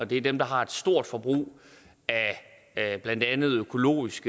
det er dem der har et stort forbrug af blandt andet økologisk